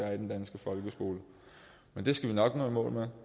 er i den danske folkeskole men det skal vi nok nå i mål med